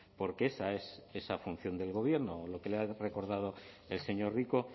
porque esa es esa función del gobierno o lo que le ha recordado el señor rico